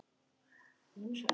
Þar verði hún óhult.